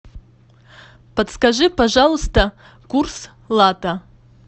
подскажи пожалуйста курс лата